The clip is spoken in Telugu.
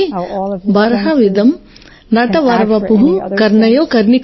09 బర్హా పీండ నటవరవపుః కర్ణయో కర్ణికారం